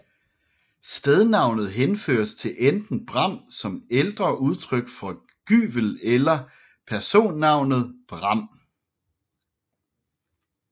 Stednavnet henføres til enten bram som ældre udtryk for gyvel eller personnavnet Bram